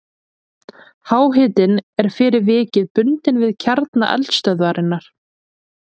Háhitinn er fyrir vikið bundinn við kjarna eldstöðvarinnar.